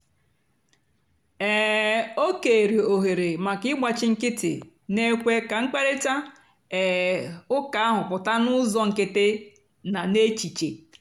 um o kèèrè òhèrè maka ị̀gbáchì nkìtì na-èkwé kà mkpáịrịtà um ụ́ka ahụ́ pụ́ta n'ụ́zọ́ nkìtì na n'èchìchè.